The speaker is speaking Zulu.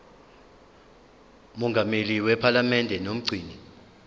mongameli wephalamende nomgcini